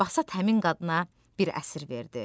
Basat həmin qadına bir əsir verdi.